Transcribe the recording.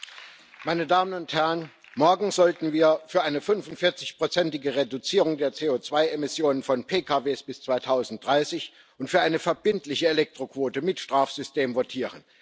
Herr Präsident! Meine Damen und Herren! Morgen sollten wir für eine 45 prozentige Reduzierung der CO2 Emissionen von PKW bis 2030 und für eine verbindliche Elektroquote mit Strafsystem votieren.